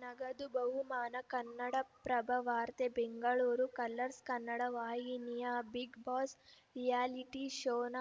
ನಗದು ಬಹುಮಾನ ಕನ್ನಡಪ್ರಭ ವಾರ್ತೆ ಬೆಂಗಳೂರು ಕಲರ್ಸ್‌ ಕನ್ನಡ ವಾಹಿನಿಯ ಬಿಗ್‌ ಬಾಸ್‌ ರಿಯಾಲಿಟಿ ಶೋನ